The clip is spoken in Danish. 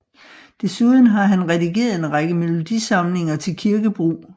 Desuden har han redigeret en række melodisamlinger til kirkebrug